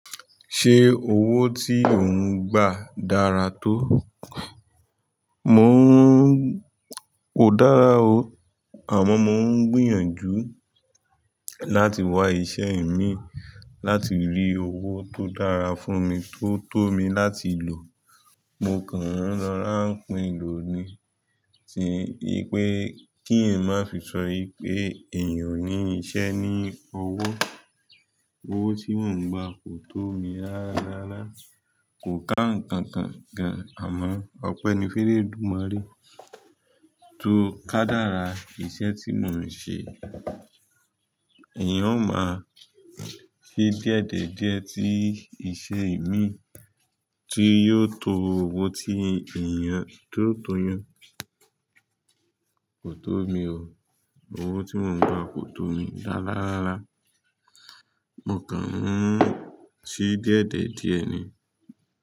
Ṣé owó tí ò ń gba dára tó? Mò ń, kò dára o. Àmọ́ mo ń gbìyànjú láti wá iṣẹ́ ìmín láti rí owó tó dára fún mi tó tó mi láti lò. Mo kàn ń rora n kpin loni, ti pé kí n eyan máa fi sọ wí pé èèyàn ò ní iṣẹ́ ní owó. Owó tí mò ń gba kò tó mi rárá rára. Kò ká ǹkankan gan, àmọ́ ọpẹ́ní fún eledúmọrẹ́ tó kádára. Iṣẹ́ tí mò ń ṣe, èèyàn ó máa ṣe díẹ̀díẹ̀díẹ̀ tí iṣẹ́ ìmín tí yóò to owó tí èèyàn tó tòyàn kò tó mi o. Owó tí mò ń gba, kò tó mi rárá rára. Mo kàn ń ṣí díẹ̀díẹ̀díẹ̀ ni.